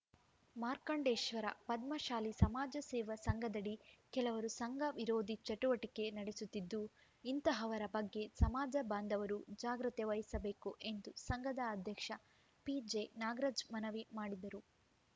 ಮಾರ್ಕಂಡೇಶ್ವರ ಪದ್ಮಶಾಲಿ ಸಮಾಜ ಸೇವಾ ಸಂಘದಡಿ ಕೆಲವರು ಸಂಘ ವಿರೋಧಿ ಚಟುವಟಿಕೆ ನಡೆಸುತ್ತಿದ್ದು ಇಂತಹವರ ಬಗ್ಗೆ ಸಮಾಜ ಬಾಂಧವರು ಜಾಗ್ರತೆ ವಹಿಸಬೇಕು ಎಂದು ಸಂಘದ ಅಧ್ಯಕ್ಷ ಪಿಜೆನಾಗರಾಜ್ ಮನವಿ ಮಾಡಿದರು